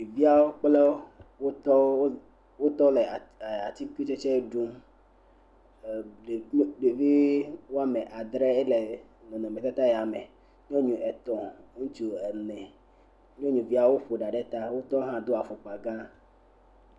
Ɖeviawo kple wotɔwo, wotɔ le atikutsɛtsɛ ɖum. Eh ɖevi woame adre yea le nɔnɔ me tata ya me, nyɔnu etɔ, ŋutsu ene, nyɔnuviawo ƒo ɖa ɖe ta, wotɔ hã do afɔkpa gã.